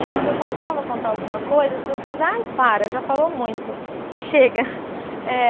E quando eu começava a contar alguma coisa, as pessoas, ai, para, já falou muito, chega. é